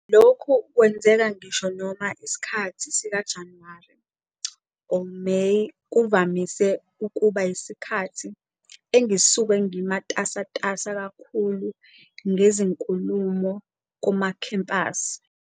Lokhu kwenzeka ngisho noma isikhathi sika-Januwari-Meyi kuvamise ukuba yisikhathi engisuke ngimatasatasa kakhulu ngezinkulumo kumakhempasi."